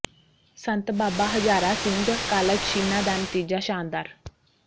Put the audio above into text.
ਸੰਤ Baba Hazara Singh college Chhina ਦਾ ਨਤੀਜਾ ਸ਼ਾਨਦਾਰ